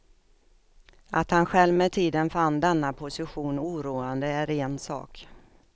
Att han själv med tiden fann denna position oroande är en sak.